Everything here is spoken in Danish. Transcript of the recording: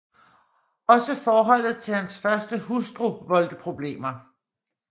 Også forholdet til hans første hustru voldte problemer